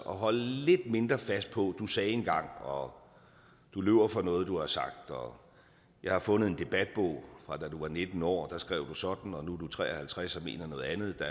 og holde lidt mindre fast på at du sagde engang og du løber fra noget du har sagt og jeg har fundet en debatbog fra da du var nitten år og der skrev du sådan og nu er du tre og halvtreds og mener noget andet